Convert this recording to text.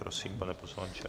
Prosím, pane poslanče.